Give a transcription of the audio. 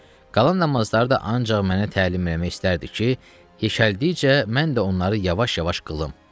Qalan namazları da ancaq mənə təlim eləmək istərdi ki, yekəldikcə mən də onları yavaş-yavaş qılım.